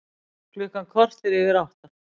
Klukkan korter yfir átta